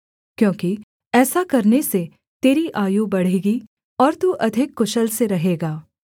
क्योंकि ऐसा करने से तेरी आयु बढ़ेगी और तू अधिक कुशल से रहेगा